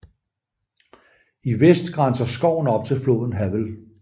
I vest grænser skoven op til floden Havel